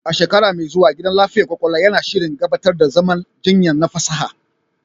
A shekara mai zuwa, gidan lafiyar ƙwaƙwalwa yana shirin gabatar da zaman jinya na fasaha.